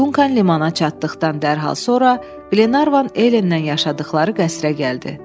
Dunkana limana çatdıqdan dərhal sonra, Qlenarvan Ellenlə yaşadıqları qəsrə gəldi.